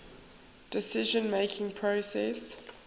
decision making process